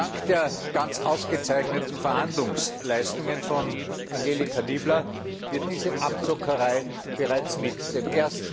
Dank der ganz ausgezeichneten Verhandlungsleistungen von Angelika Niebler wird diese Abzockerei bereits mit dem